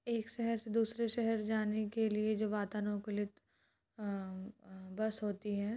एक शेहर से दूसरे शेहर जाने के लिए जो वातानूकूलित अह अ बस होती है।